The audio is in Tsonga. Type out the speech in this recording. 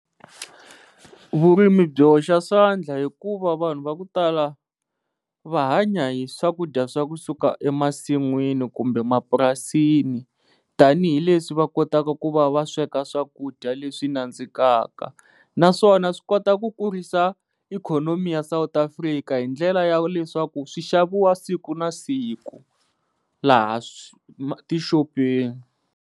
Vurimi byi hoxa swandla hikuva vanhu va ku tala va hanya hi swakudya swa kusuka emasin'wini kumbe mapurasini tanihileswi va kotaka ku va va sweka swakudya leswi nandzikaka naswona swi kota ku kurisa ikhonomi ya South Africa hi ndlela ya leswaku swishaviwa siku na siku laha tixopeni.